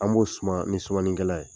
An b'o suma ni sumani kɛla ye.